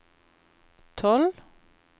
tolv